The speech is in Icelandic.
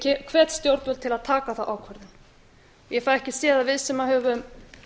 ég hvet stjórnvöld til að taka þá ákvörðun ég fæ ekki séð að við sem höfum